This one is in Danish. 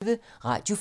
Radio 4